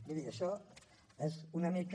miri això és una mica